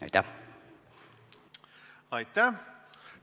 Aitäh!